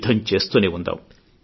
యుద్ధం చేస్తూనే ఉందాం